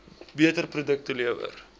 beter produkte lewer